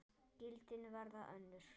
Gildin verða önnur.